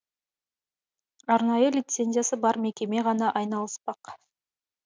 арнайы лицензиясы бар мекеме ғана айналыспақ